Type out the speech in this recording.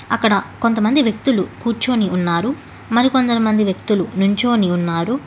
అక్కడ కొంతమంది వ్యక్తులు కూర్చొని ఉన్నారు మరి కొందరు మంది వ్యక్తులు నించొని ఉన్నారు.